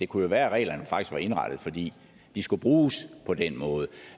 kunne være at reglerne faktisk var indrettet fordi de skulle bruges på den måde